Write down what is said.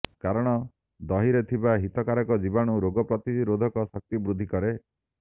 କାରଣ ଦହିରେ ଥିବା ହିତକାରକ ବୀଜାଣୁ ରୋଗ ପ୍ରତିରୋଧକ ଶକ୍ତି ବୃଦ୍ଧି କରେ